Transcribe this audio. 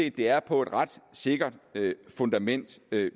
at det er på et ret sikkert fundament